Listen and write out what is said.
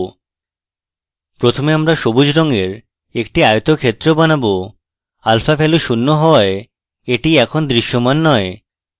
প্রথমে আমরা সবুজ রঙের একটি আয়তক্ষেত্র বানাবো alpha value শূন্য হওয়ায় এটি এখন দৃশ্যমান নয়